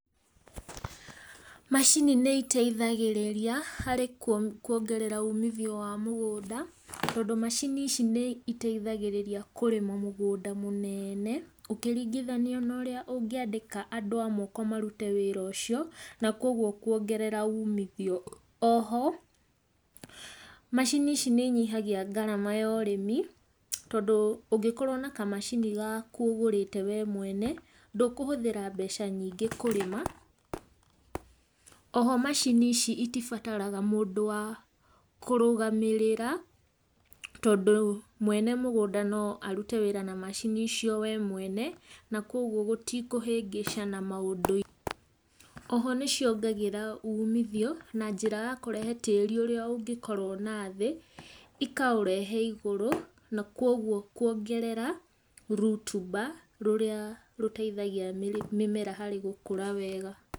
Macini nĩ iteithagĩrĩria harĩ kuongerera ũmithio wa mũgũnda tondũ macini ici nĩiteithagĩrĩria kũrĩma mũgũnda mũnene ũkĩringithania na ũrĩa ũngĩandĩka andũ a moko marute wĩra ũcio na koguo kuongerera umithio, oho macini ici nĩinyihagia ngarama ya ũrĩmi tondũ ũngĩkorwo na kamacini gaku ũgũrĩte wee mwene ndũkũhũthĩra mbeca nyingĩ kũrĩma, oho macini ici itibataraga mũndũ wakũrũgamĩrĩra tondũ mwene mũgũnda no arute wĩra na macini icio wee mwene, na koguo gũtikũhĩngĩcana maũndũ. Oho nĩciongagĩrĩra ũmithio na njĩra a kũrehe tĩri ũrĩa ũngĩkorwo na thĩ ikaũrehe igũrũ na koguo kũongerera rutumba rũrĩa rũteitagia mĩmera harĩ gũkũra wega.